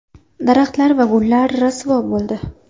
Daraxtlar va gullar rasvo bo‘ldi.